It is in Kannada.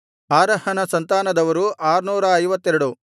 ಆರಹನ ಸಂತಾನದವರು 652